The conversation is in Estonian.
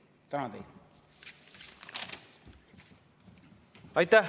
Tänan teid!